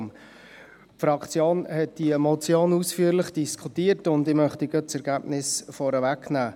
Die Fraktion hat diese Motion ausführlich diskutiert, und ich möchte das Ergebnis gerade vorwegnehmen.